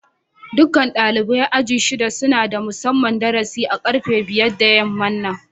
Dukan dalibain aji'n shida suna da musamman darasi a karfe biyar da yaman nan.